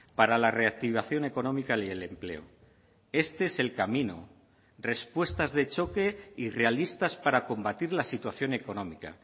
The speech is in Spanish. para la reactivación económica y el empleo este es el camino respuestas de choque y realistas para combatir la situación económica